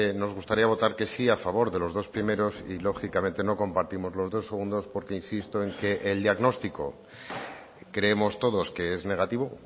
nos gustaría votar que sí a favor de los dos primeros y lógicamente no compartimos los dos segundos porque insisto en que el diagnóstico creemos todos que es negativo